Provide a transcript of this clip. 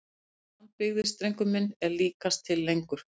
Frá því að land byggðist drengur minn og líkast til lengur!